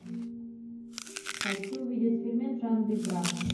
хочу увидеть фильмец в жанре драма